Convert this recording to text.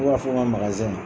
U b'a fɔ n ka magazɛn na.